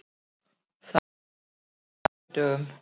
Það er læri á sunnudögum.